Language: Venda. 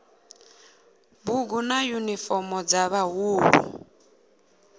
bugu na yunifomo dza vhaḓuhulu